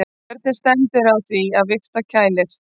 Hvernig stendur á því að vifta kælir?